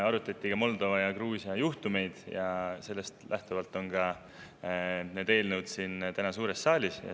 Arutati ka Moldova ja Gruusia juhtumeid ja sellest lähtuvalt on need eelnõud täna ka siin suures saalis.